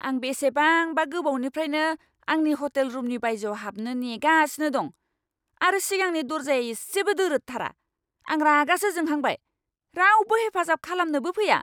आं बेसेबांबा गोबावनिफ्रायनो आंनि हटेल रुमनि बायजोआव हाबनो नेगासिनो दं, आरो सिगांनि दरजाया इसेबो दोरोदथारा! आं रागासो जोंहांबाय, रावबो हेफाजाब खालामनोबो फैया।